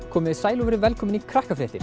komiði sæl og verið velkomin í